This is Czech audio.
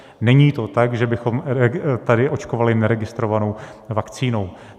Není to tak, že bychom tady očkovali neregistrovanou vakcínou.